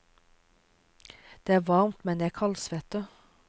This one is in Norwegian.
Det er varmt, men jeg kaldsvetter.